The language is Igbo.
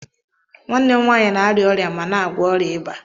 Nwanne m nwanyị na-arịa ọrịa ma na-agwọ ọrịa ịba